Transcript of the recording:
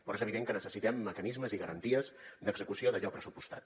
però és evident que necessitem mecanismes i garanties d’execució d’allò pressupostat